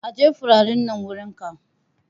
Aje furanin nan wurin can!